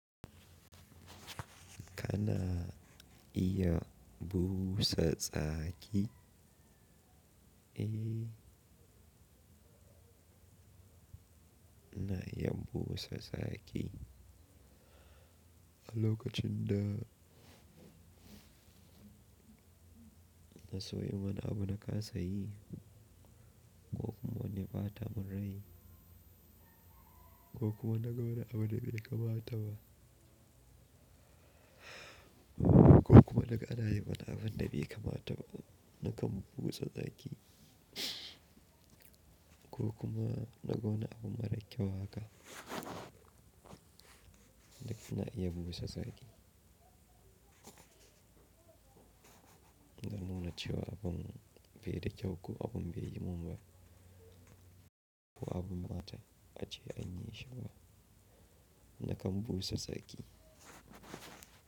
Kana iya busa tsaki? Eh, na iya busa tsaki. A lokacin da na so yin wani abu na ka sayi ko kuma wani fata mun rai ko kuma na ga wani abu da bai kamata ba ko kuma naga ana yi wani abun da bai kamata ba, na kan busa tsaki ko kuma na ga wani abu mara kyau haka, da kina iya busa tsaki. Don nuna cewa abun bai da kyau ko abun baiyi mun ba, ko abun mata ace anyi shi ba, na kan busa tsaki.